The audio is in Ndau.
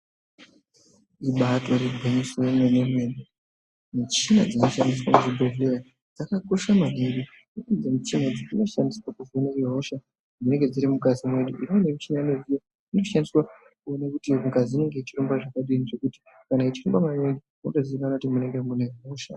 Ibaatori gwinyiso remene mene michina dzinoshandiswa muzvibhedhlera dzakakosha maningi ngekuti michina dzinoshandiswa kuvheneka hosha dzinenge dziri mukati mwedu. Imweni michina inoshandiswa kuona kuti ngazi inenge ichihamba zvakadini zvekuti kana ichirumba maningi zvinotozikanwa kuti mune hosha.